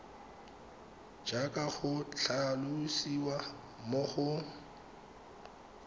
jaaka go tlhalosiwa mo go